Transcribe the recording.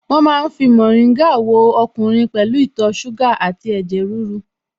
Wọ́n ma ń fi mórìngà wo ọkùnrin pẹ̀lú ìtọ̀ ṣúgà àti ẹ̀jẹ̀ ríru